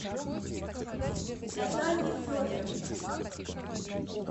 наталье федоровне